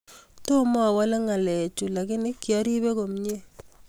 �...Toma awale ngalek chu lakini kiaribe komyee.